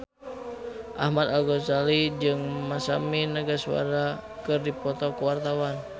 Ahmad Al-Ghazali jeung Masami Nagasawa keur dipoto ku wartawan